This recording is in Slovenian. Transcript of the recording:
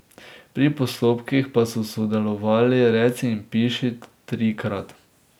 Pri postopkih pa so sodelovali reci in piši trikrat.